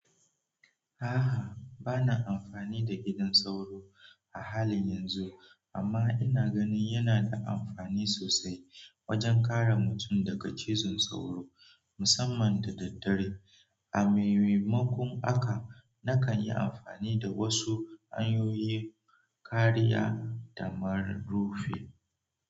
Bana amfani da gidan sauro a halin yanzu amman ina ganin yana da amfani sosai wajen kare mutun daga cizon saura musamman da daddare. A maimakon haka nakan yi amfani da wasu hanyoyin kariya kamar rufi.